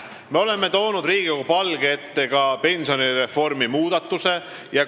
Me oleme toonud Riigikogu palge ette ka pensionireformi muudatused.